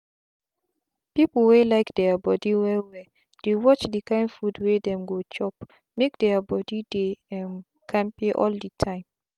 people wey like their body well welldey watch the kind food wey dem go chopmake their body dey um kampe all the time.